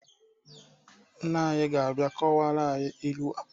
Nna anyị ga-abịa kọwara anyị ilu a